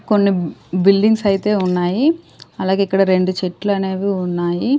కొన్ని బిల్డింగ్స్ అయితే ఉన్నాయి అలాగే ఇక్కడ రెండు చెట్లు అనేవి ఉన్నాయి.